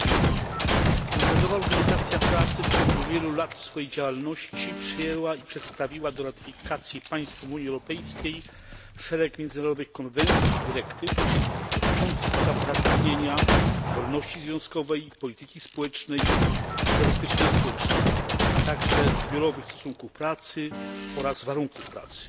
Panie przewodniczący! Międzynarodowa Organizacja Pracy w ciągu wielu lat swojej działalności przyjęła i przedstawiła do ratyfikacji państw Unii Europejskiej szereg międzynarodowych konwencji i dyrektyw dotyczących spraw zatrudnienia, wolności związkowej, polityki społecznej i zabezpieczenia społecznego, a także zbiorowych stosunków pracy oraz warunków pracy.